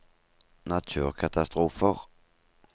naturkatastrofer